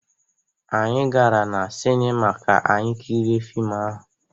Anyị gara na sinima ka anyị kirie fiim ahụ.